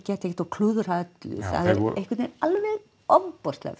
ekkert og klúðra öllu það er einhvern veginn alveg ofboðslega